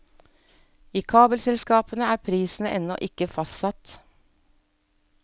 I kabelselskapene er prisen ennå ikke fastsatt.